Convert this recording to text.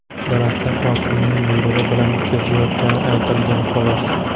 Daraxtlar hokimning buyrug‘i bilan kesilayotgani aytilgan, xolos.